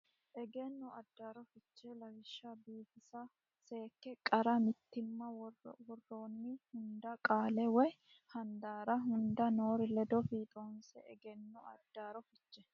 Egenno Addaarro Fiche Lawishsha biifisa seekka qarra mitiimma Woroonni hunda qaalla woy handaarra hunda noori ledo fiixoonse Egenno Addaarro Fiche.